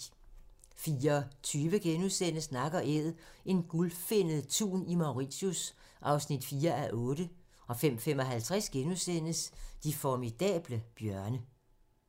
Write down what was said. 04:20: Nak & æd - en gulfinnet tun i Mauritius (4:8)* 05:55: De formidable bjørne *